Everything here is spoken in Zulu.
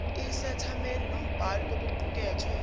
isethameli nombhali kokuqukethwe